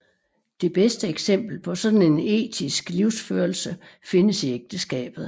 Det bedste eksempel på sådan en etisk livsførelse findes i ægteskabet